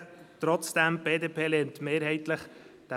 Trotzdem: Die BDP lehnt diesen Vorstoss mehrheitlich ab.